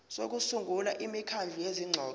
sokusungula imikhandlu yezingxoxo